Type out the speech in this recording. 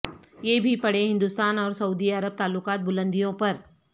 یہ بھی پڑھیں ہندوستان اور سعودی عرب تعلقات بلندیوں پر